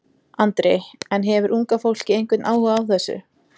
Andri: En hefur unga fólkið einhvern áhuga á þessu?